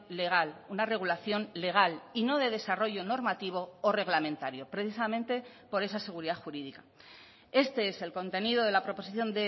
legal una regulación legal y no de desarrollo normativo o reglamentario precisamente por esa seguridad jurídica este es el contenido de la proposición